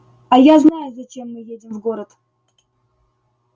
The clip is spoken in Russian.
а я знаю зачем мы едем в город